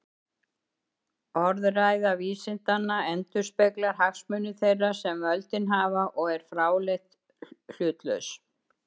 Orðræða vísindanna endurspeglar hagsmuni þeirra sem völdin hafa og er fráleitt hlutlaus.